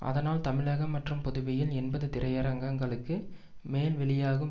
அதனால் தமிழகம் மற்றும் புதுவையில் எண்பது திரையரங்குகளுக்கு மேல் வெளியாகும்